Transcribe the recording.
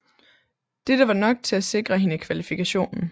Dette var nok til at sikre hende kvalifikationen